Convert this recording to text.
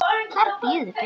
Hver bíður betur?